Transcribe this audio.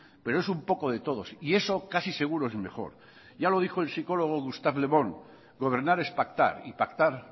pero es un poco de todos y eso casi seguro es mejor ya lo dijo el psicólogo gustave le bon gobernar es pactar y pactar